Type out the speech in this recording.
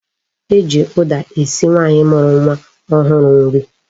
E ji uda esiri nwaanyi muru nwa ohuru nri